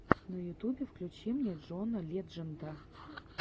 на ютубе включи мне джона ледженда